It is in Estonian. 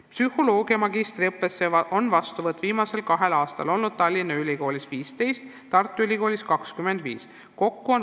Psühholoogia magistriõppesse on viimsel kahel aastal Tallinna Ülikoolis võetud 15, Tartu Ülikoolis 25 õppurit.